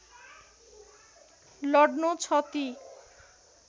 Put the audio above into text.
लड्नु छ ती